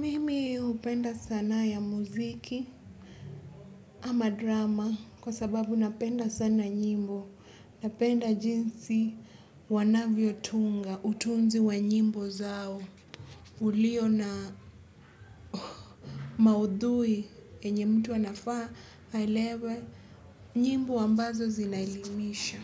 Mimi hupenda sanaa ya muziki ama drama kwa sababu napenda sana nyimbo. Napenda jinsi wanavyo tunga, utunzi wa nyimbo zao. Uliona maudhui yenye mtu anafa aelewe nyimbo ambazo zina elimisha.